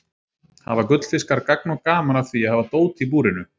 Hafa gullfiskar gagn og gaman af því að hafa dót í búrinu?